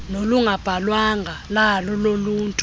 nolungabhalwanga lalo noluntu